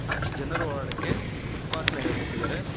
ಆಚೆ ಜನರು ಓಡಾಡಕ್ಕೆ ಫುಟ್ ಪಾತ್ ನಿರ್ಮಿಸಿದ್ದಾರೆ.